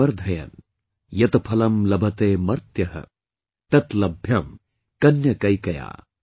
यत फलम् लभते मRर्य, तत् लभ्यम् कन्यकैकया ॥